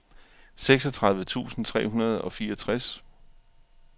seksogtredive tusind tre hundrede og fireogtres